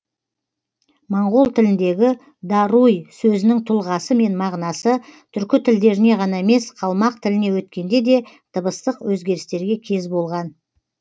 моңғол тіліндегі даруй сөзінің тұлғасы мен мағынасы түркі тілдеріне ғана емес қалмақ тіліне өткенде де дыбыстық өзгерістерге кез болған